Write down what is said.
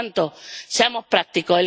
Por tanto, seamos prácticos.